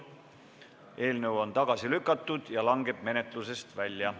Eelnõu on tagasi lükatud ja langeb menetlusest välja.